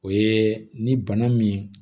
O ye ni bana min